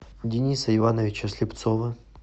дениса ивановича слепцова